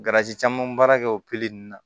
caman baara kɛ o ninnu na